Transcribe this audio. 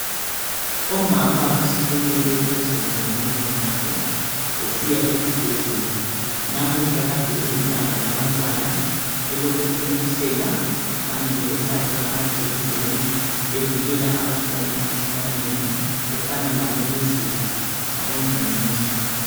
Omama basukumele phezulu ngobunengi babo besiya esibhedlela. Namuhla kade kulilanga labantwana elokuthontiselwa kanye lokuhlatshwa amajekiseni bevikela abantwana emikhuhlaneni efana labo measles labo labondingindi.